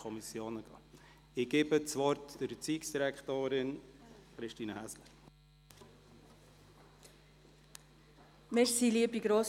Ich gebe das Wort der Erziehungsdirektorin, Christine Häsler.